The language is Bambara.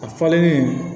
A falennen